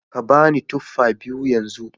Ka ba ni tufa biyu yanzu